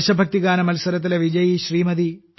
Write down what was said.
ദേശഭക്തിഗാന മത്സരത്തിലെ വിജയി ശ്രീമതി